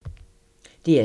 DR2